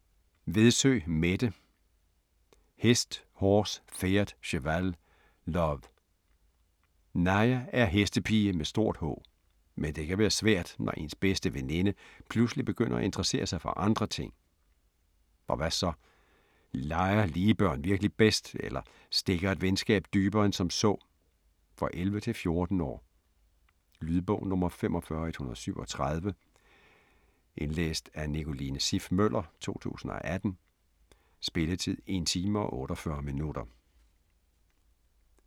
Vedsø, Mette: Hest horse pferd cheval love Naja er hestepige med stort H. Men det kan være svært, når ens bedste veninde pludselig begynder at interessere sig for andre ting. Og hvad så? Leger lige børn virkelig bedst eller stikker et venskab dybere end som så? For 11-14 år. Lydbog 45137 Indlæst af Nicoline Siff Møller, 2018. Spilletid: 1 time, 48 minutter.